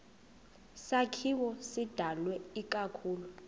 sakhiwo sidalwe ikakhulu